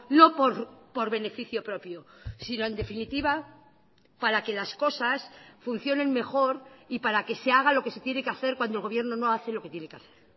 no por beneficio propio sino en definitiva para que las cosas funcionen mejor y para que se haga lo que se tiene que hacer cuando el gobierno no hace lo que tiene que hacer